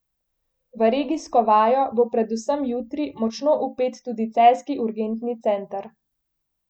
V regijsko vajo bo predvsem jutri močno vpet tudi celjski urgentni center.